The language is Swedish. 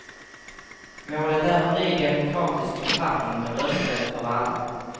Målet är en ny demokratisk författning med röstrrätt för alla.